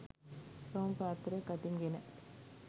රවුම් පාත්තරයක් අතින් ගෙන